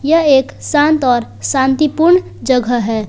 यह एक शांत और शांतिपूर्ण जगह है।